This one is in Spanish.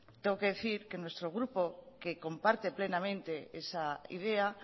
tengo que decir que nuestro grupo que comparte plenamente esa idea